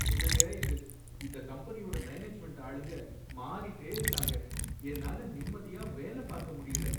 என்னங்க இது! இந்த கம்பெனியோட மேனேஜ்மெண்ட் ஆளுங்க மாறிட்டே இருக்காங்க, என்னால நிம்மதியா வேல பார்க்க முடியல